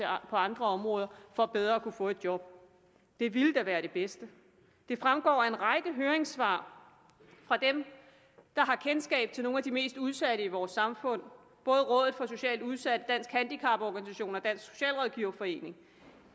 andre områder for bedre at kunne få job det ville da være det bedste det fremgår af en række høringssvar fra dem der har kendskab til nogle af de mest udsatte i vores samfund både fra rådet for socialt udsatte danske handicaporganisationer og dansk socialrådgiverforening